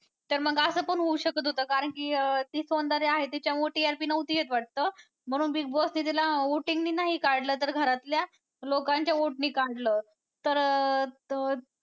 तर मग असं पण होऊ शकत होतं कारण की अं ती सौंदर्या आहे तिच्यामुळं TRP नव्हती येत वाटतं म्हणून Big Boss ने तिला voting ने नाही काढलं तर घरातल्या लोकांच्या vote ने काढलं तर तो.